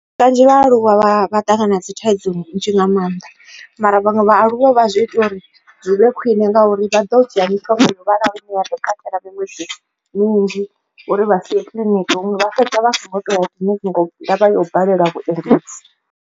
Kanzhi vhaaluwa vha ṱangana dzi thaidzo ndi nnzhi nga maanḓa mara vhaṅwe vhaaluwa vha zwi ita uri zwi vhe khwine ngauri vha ḓo dzhia mishonga yo vhalaho ine ya ḓo katela miṅwedzi minzhi uri vha si ye kiḽiniki huṅwe vha fhedza vha songo toya kiḽiniki nga ndavha yo balelwa vhuendedzi.